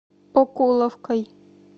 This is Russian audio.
окуловкой